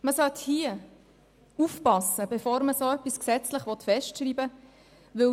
Man sollte aufpassen, bevor man dergleichen gesetzlich festschreiben will.